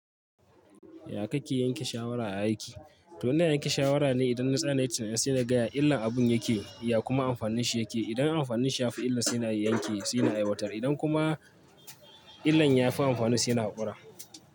Ya kake yanke shawara a aiki? To ina yanke shawara ne idan na tsaya na yi tunani, sai na ga ya illar abun yake, ya kuma amfanin shi yake. Idan amfaninsa ya fi illar, sai na yanke, sai na aiwatar. Idan kuma illar ya fi amfanin, sai na haƙura.